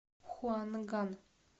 хуанган